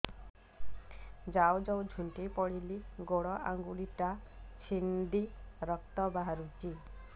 ଯାଉ ଯାଉ ଝୁଣ୍ଟି ପଡ଼ିଲି ଗୋଡ଼ ଆଂଗୁଳିଟା ଛିଣ୍ଡି ରକ୍ତ ବାହାରୁଚି